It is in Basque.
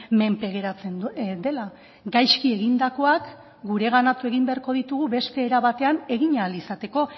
menpe geratzen dela gaizki egindakoak gureganatu egin beharko ditugu beste era batean egin ahal izateko